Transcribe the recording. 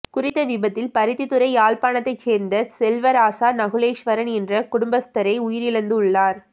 குறித்த விபத்தில் பருத்தித்துறை யாழ்ப்பாணத்தை சேர்ந்த செல்வராசா நகுலேஸ்வரன் என்ற குடும்பஸ்தரே உயிரிழந்துள்ளார்